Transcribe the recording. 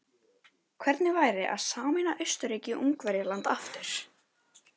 Hvernig væri að sameina Austurríki-Ungverjaland aftur?